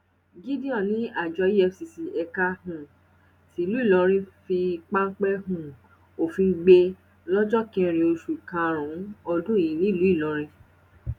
gideon ní àjọ efcc ẹka um tìlú ìlọrin fi páńpẹ um òfin gbé lọjọ kẹrin oṣù karùnún ọdún yìí nílùú ìlọrin